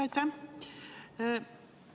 Aitäh!